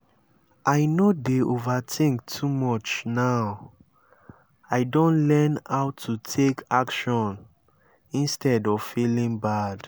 i no dey overthink too much now i don learn how to take action instead of feeling bad